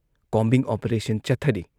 Combing operation ꯆꯠꯊꯔꯤ ꯫